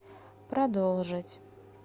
продолжить